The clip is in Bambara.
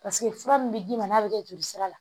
Paseke fura min bɛ d'i ma n'a bɛ kɛ jolisira la